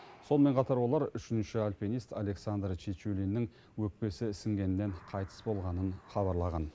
сонымен қатар олар үшінші альпинист александр чечулиннің өкпесі ісінгеннен қайтыс болғанын хабарлаған